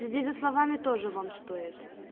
следи за словами тоже вам стоит